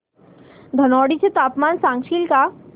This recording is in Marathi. धनोडी चे तापमान सांगशील का